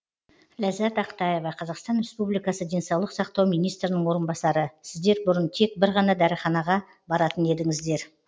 ләззат ақтаева қазақстан республикасы денсаулық сақтау министрінің орынбасары сіздер бұрын тек бір ғана дәріханаға баратын едіңіздер